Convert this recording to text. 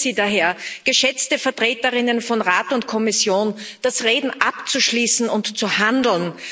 Ich bitte Sie daher, geschätzte Vertreterinnen von Rat und Kommission, das Reden abzuschließen und zu handeln.